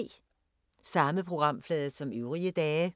Samme programflade som øvrige dage